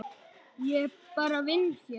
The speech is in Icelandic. Ég bara vinn hér.